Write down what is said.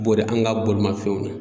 Bɔrɛ an ga bolimafɛnw ɲɛ